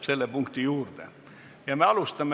Selliseid samme on loomulikult Eesti meditsiinisüsteem valmis astuma.